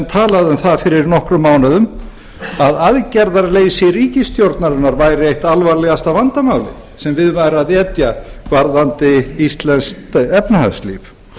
um það fyrir nokkrum mánuðum að aðgerðaleysi ríkisstjórnarinnar væri eitt alvarlegasta vandamálið sem við væri að etja varðandi íslenskt efnahagslíf